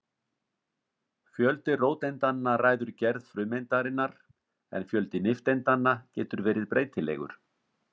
Fjöldi róteindanna ræður gerð frumeindarinnar en fjöldi nifteindanna getur verið breytilegur.